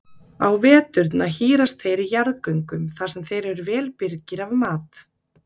Á veturna hírast þeir í jarðgöngum þar sem þeir eru vel birgir af mat.